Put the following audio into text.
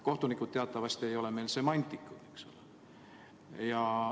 Kohtunikud teatavasti ei ole meil semantikud, eks ole.